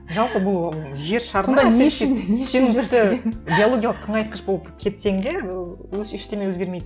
жалпы бұл жер шарында биологиялық тыңайтқыш болып кетсең де ештеңе өзгермейді